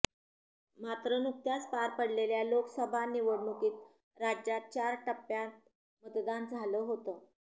मात्र नुकत्याच पार पडलेल्या लोकसभा निवडणुकीत राज्यात चार टप्प्यात मतदान झालं होतं